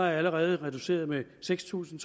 er allerede reduceret med seks tusind